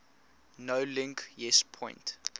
nolink yes point